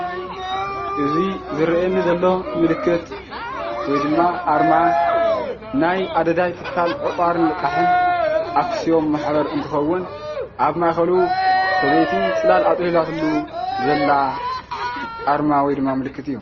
እዚ ዝርአየኒ ዘሎ ምልክት ወይ ድማ ኣርማ ናይ ኣደዳይ ትካል ዕቋርን ልቓሕን ኣክስዮን ማሕበር እንትኸውን ኣብ ማእኸሉ ሰበይቲ ፅላል ኣፅሊላትሉ ዘላ ኣርማ ወይ ድማ ምልክት እዩ፡፡